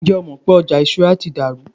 njé o mọ pé oja ìṣura to dari